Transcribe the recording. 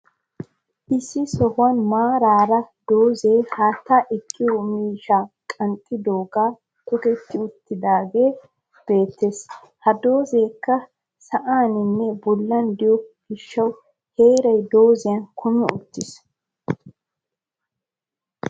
Issi sohuwan maaraara doozzay haataa ekiyo miishshaa qanxxidoogan toketti uttidaagee beettes. Ha doozzayikka sa'aninne bollan de'iyo gishshawu heeray doozzan kumi uttis?